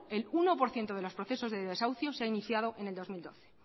el uno por ciento de los procesos de desahucio se han iniciado en el dos mil doce